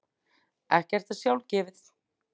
Ekkert er sjálfgefið.